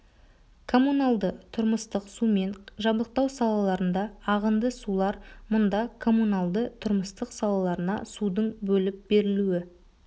коммуналды-тұрмыстық сумен жабдықтау салаларында ағынды сулар мұнда коммуналды-тұрмыстық салаларына судың бөліп берілуі